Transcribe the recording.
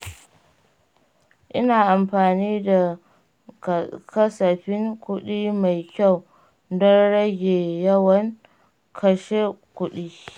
Ina amfani da kasafin kuɗi mai kyau don rage yawan kashe kuɗi.